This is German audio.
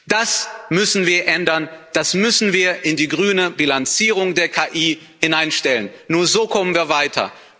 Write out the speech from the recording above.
Das müssen wir ändern, das müssen wir in die grüne Bilanzierung der KI hineinstellen nur so kommen wir weiter.